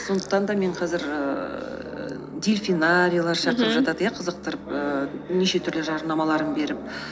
сондықтан да мен қазір ііі дельфинарийлар шақырып жатады мхм қызықтырып ііі неше түрлі жарнамаларын беріп